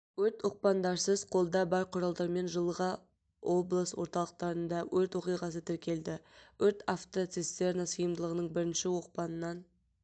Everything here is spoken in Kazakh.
өрт оқпандарсыз қолда бар құралдармен жылға облыс орталықтарында өрт оқиғасы тіркелді өрт автоцистерна сыйымдылығының бірінші оқпанынан